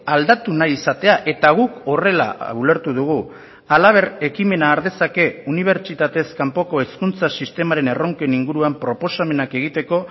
aldatu nahi izatea eta guk horrela ulertu dugu halaber ekimena har dezake unibertsitatez kanpoko hezkuntza sistemaren erronken inguruan proposamenak egiteko